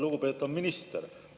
Lugupeetav minister!